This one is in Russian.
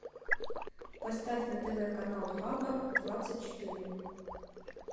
поставь на тв канал хабар двадцать четыре